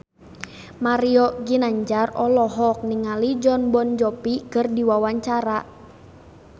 Mario Ginanjar olohok ningali Jon Bon Jovi keur diwawancara